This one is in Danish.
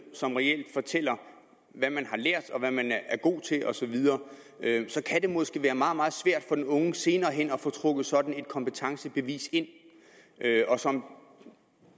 som reelt fortæller hvad man har lært og hvad man er god til osv så kan det måske være meget meget svært for den unge senere hen at få trukket sådan et kompetencebevis ind som